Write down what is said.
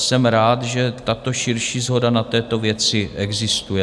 Jsem rád, že tato širší shoda na této věci existuje.